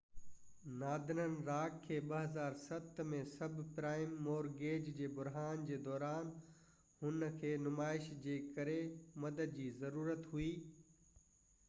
Northern Rock کي 2007 ۾ sub prime mortgage جي بحران جي دوران هن کي نمائش جي ڪري مدد جي ضرورت هئي